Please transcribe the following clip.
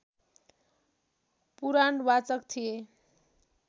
पुराणवाचक थिए